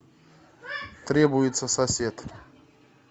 требуется сосед